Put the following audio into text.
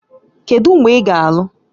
Kedu mgbe ị ga-alụ?